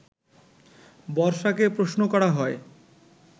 বর্ষাকে প্রশ্ন করা হয়